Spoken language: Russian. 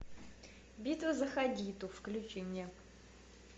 битва за хадиту включи мне